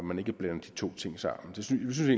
man ikke blander de to ting sammen synes vi